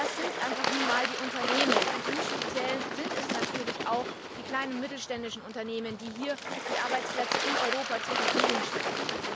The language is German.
Und es sind nun einfach einmal die Unternehmen und im Speziellen natürlich auch die kleinen und mittelständischen Unternehmen, die die Arbeitsplätze in Europa zur Verfügung stellen.